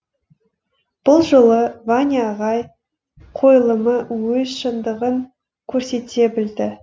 бұл жолы ваня ағай қойылымы өз шындығын көрсете білді